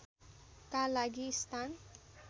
का लागि स्थान